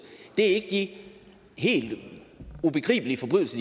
ikke er de helt ubegribeligt